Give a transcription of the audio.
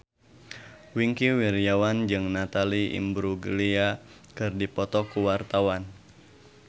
Wingky Wiryawan jeung Natalie Imbruglia keur dipoto ku wartawan